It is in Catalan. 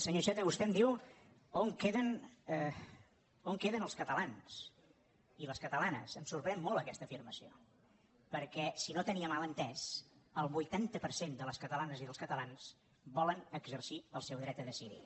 senyor iceta vostè em diu on queden els catalans i les catalanes em sorprèn molt aquesta afirmació perquè si no ho tenia mal entès el vuitanta per cent de les catalanes i dels catalans volen exercir el seu dret a decidir